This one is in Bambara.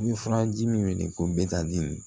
I bɛ furaji min wele ko